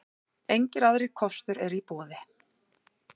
Engir aðrir kostur eru í boði.